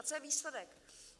A co je výsledek?